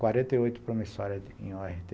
quarenta e oito promissórias em